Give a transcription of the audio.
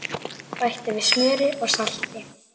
Bætti við smjöri og salti.